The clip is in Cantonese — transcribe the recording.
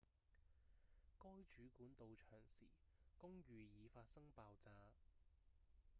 該主管到場時公寓已發生爆炸